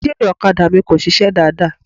Ẹ́ńjínnìì ọ̀kadà mi kò sisẹ́ dáadáa.